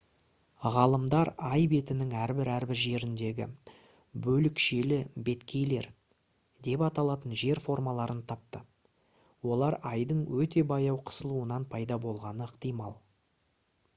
ғалымдар ай бетінің әрбір-әрбір жеріндегі «бөлікшелі беткейлер» деп аталатын жер формаларын тапты. олар айдың өте баяу қысылуынан пайда болғаны ықтимал